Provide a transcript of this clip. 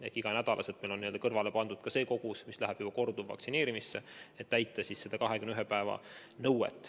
Ehk igaks nädalaks on meil kõrvale pandud ka see kogus, mis läheb korduvvaktsineerimiseks, et täita 21 päeva nõuet.